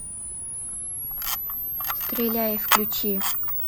стреляй включи